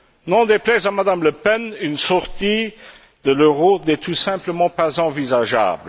N'en déplaise à Mme Le Pen, une sortie de l'euro n'est tout simplement pas envisageable.